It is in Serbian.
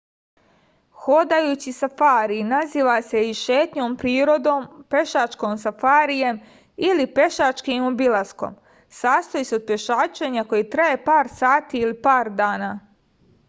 ходајући сафари назива се и шетњом природом” пешачким сафаријем” или пешачким обиласком” састоји се од пешачења које траје пар сати или пар дана